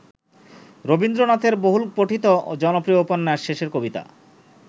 রবীন্দ্রনাথের বহুলপঠিত ও জনপ্রিয় উপন্যাস ‘শেষের কবিতা’।